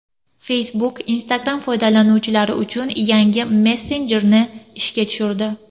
Facebook Instagram foydalanuvchilari uchun yangi messenjerni ishga tushirdi.